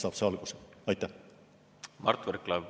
Mart Võrklaev, palun!